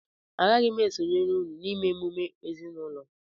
Agaghị m esonyere unu na-ịme emume ezinụlọ